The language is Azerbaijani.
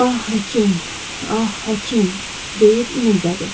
Ah, həkim, ah, həkim, deyib inildədi.